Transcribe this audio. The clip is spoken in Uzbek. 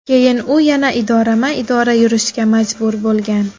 Keyin u yana idorama-idora yurishga majbur bo‘lgan.